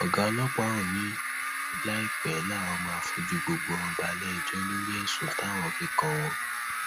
ọgá ọlọpá ọhún ni láìpẹ làwọn máa fojú gbogbo wọn balẹẹjọ lórí ẹsùn táwọn fi kàn wọn